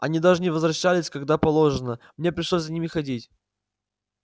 они даже не возвращались когда положено мне пришлось за ними ходить